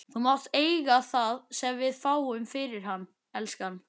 Þú mátt eiga það sem við fáum fyrir hann, elskan.